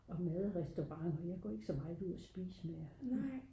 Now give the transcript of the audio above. og mad og restauranter jeg går ikke så meget ud at spise mere